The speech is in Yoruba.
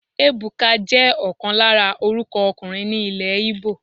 Ebuka jẹ́ ọ̀kan lára orúkọ ọkùnrin ní ilè Igbo.